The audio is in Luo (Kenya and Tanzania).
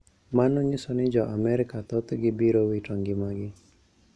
Mano nyiso ni Jo - Amerka thoth gi biro wito ngimagi